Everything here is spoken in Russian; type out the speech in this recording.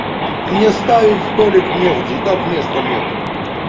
мне ставить столик негде и так места нет